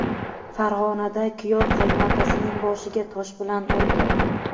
Farg‘onada kuyov qaynotasining boshiga tosh bilan urdi.